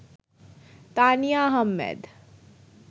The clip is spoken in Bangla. তানিয়া আহমেদ